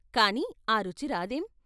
కాని ఆ రుచి రాదేం!